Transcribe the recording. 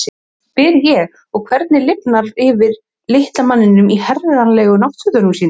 spyr ég og sé hvernig lifnar yfir litla manninum í herralegu náttfötunum sínum.